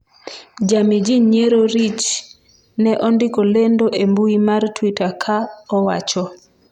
jamii ji nyiero Rich ne ondiko lendo e mbui mar twitter ka owacho: